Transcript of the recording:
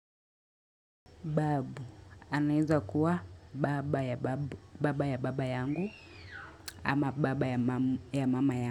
Babu anezakuwa baba ya babu, baba ya baba yangu ama baba ya mama yangu.